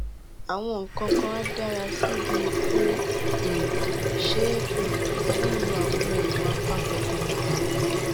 àwọn nǹkan nǹkan á dára sí i bí o um ṣe um ń lo àwọn oògùn apakòkòrò ààrùn